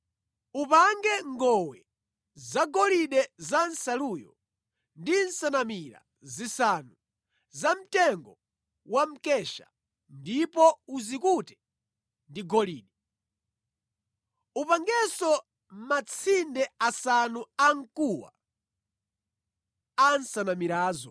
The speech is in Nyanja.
Upange ngowe zagolide za nsaluyo ndi nsanamira zisanu zamtengo wa mkesha ndipo uzikute ndi golide. Upangenso matsinde asanu amkuwa a nsanamirazo.”